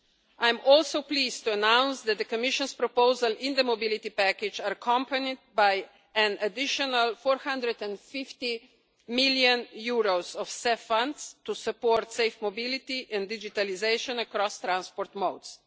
I am also pleased to announce that the Commission's proposals in the Mobility Package are accompanied by an additional EUR 450 million of CEF funds to support safe mobility and digitalisation across transport modes.